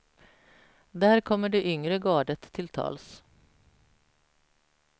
Där kommer det yngre gardet till tals.